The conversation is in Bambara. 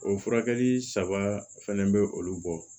O furakɛli saba fɛnɛ be olu bɔ